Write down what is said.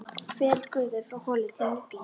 Ferill gufu frá holu til nýtingar